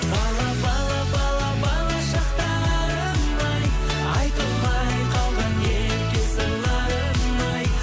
бала бала бала бала шақтарым ай айтылмай қалған ерке сырларым ай